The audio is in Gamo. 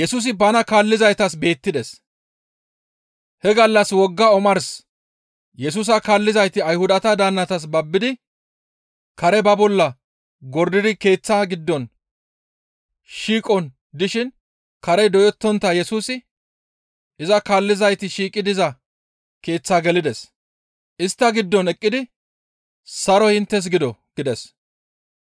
He gallas wogga omars Yesusa kaallizayti Ayhudata daannatas babbidi kare ba bolla gordidi keeththaa giddon shiiqon dishin karey doyettontta Yesusi iza kaallizayti shiiqi diza keeththaa gelides; istta giddon eqqidi, «Saroy inttes gido!» gides.